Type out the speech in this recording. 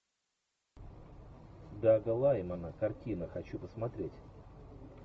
дага лаймана картина хочу посмотреть